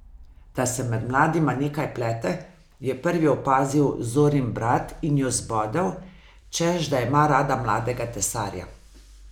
Da se med mladima nekaj plete, je prvi opazil Zorin brat in jo zbodel, češ da ima rada mladega tesarja.